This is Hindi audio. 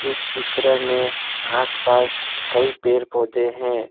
इस चित्र में आसपास कई पेड़ पौधे हैं।